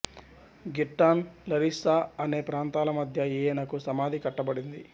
Girton Larissa అనే ప్రాంతాల మధ్య ఈయనకు సమాధి కట్టబడింది